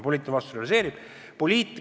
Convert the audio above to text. Poliitiline vastutus on olemas.